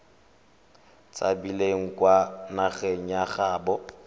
tshabileng kwa nageng ya gaabo